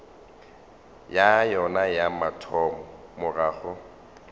ya yona ya mathomo morago